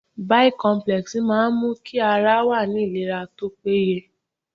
Bicomplex máa n mú kí ara wa ní ìlera tópé ye